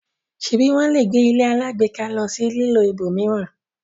ṣebi wón lẹ gbé ilé alágbèéká ló sì lilọ ibòmíràn?